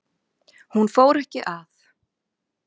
Hún fór ekki að